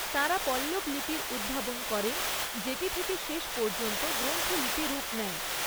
তাঁরা পল্লব লিপির উদ্ভাবন করেন, যেটি থেকে শেষ পর্যন্ত গ্রন্থ লিপি রূপ নেয়।